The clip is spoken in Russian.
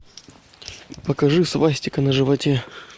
покажи свастика на животе